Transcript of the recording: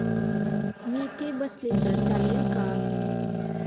मी इथे बसले तर चालेल का?